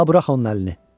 Da burax onun əlini!